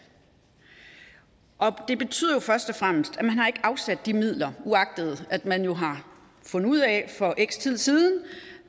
og det betyder først og fremmest at de midler uagtet at man jo har fundet ud af for x tid siden